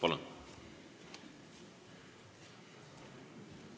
Palun!